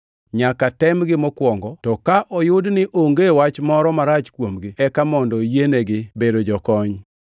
Nyaka temgi mokwongo, to ka oyud ni onge wach moro marach kuomgi eka mondo yienegi bedo jokony.